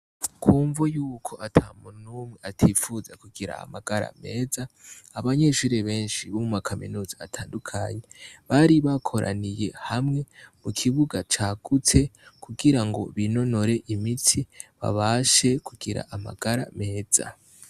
Kumvu yuko ata munumwe atifuza kugira amagara meza abanyeshuri benshi bo mu makaminuzi atandukanye bari bakoraniye hamwe mu kibuga cagutse kugira ngo binonore imitsi babashe kugira amagara meza.